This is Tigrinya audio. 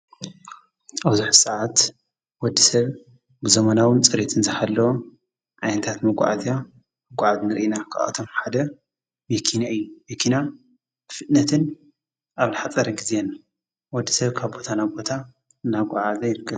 ኣብዙኅ ሰዓት ወዲ ሰብ ብዘመናውን ጸሬትን ዝሃለወ ዓይንታት መጐዓእዝያ ኣጐዓት ንርኢና ኸበኣቶም ሓደ መኪንያ እዩ። መኪና ፍጥነትን ኣብ ልኃጸረ ጊዜን ወዲ ሰብ ካብ ቦታ ና ቦታ እናጐዓእዛ ይርከብ።